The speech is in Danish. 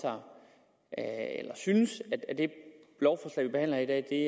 jeg at eller synes at det lovforslag vi behandler her i